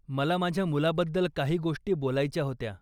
मला माझ्या मुलाबद्दल काही गोष्टी बोलायच्या होत्या.